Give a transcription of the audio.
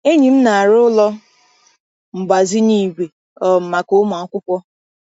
Enyi m na-arụ ụlọ mgbazinye igwe um maka ụmụ akwụkwọ.